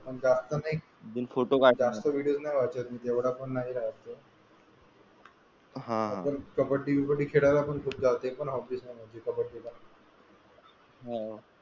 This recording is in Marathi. पण जास्त नाही फोटो नाही पाहत का? विडिओ नाही पाहत मी एवढं सारखं हा कबड्डी वैगेरे खेळायला पण जाते ते पण हॉबी आहे माझी कबड्डी ला हा,